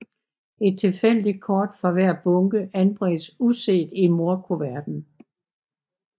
Et tilfældigt kort fra hver bunke anbringes uset i mordkuverten